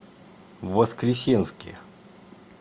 воскресенске